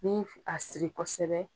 N mi a siri kosɛbɛ